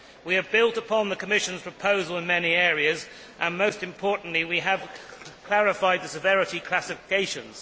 We have built upon the Commission's proposal in many areas and, most importantly, we have clarified the severity classifications.